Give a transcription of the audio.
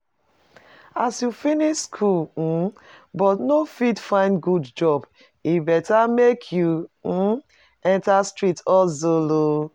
As you finish school um but no fit find good job, e better make you um enter street hustle oo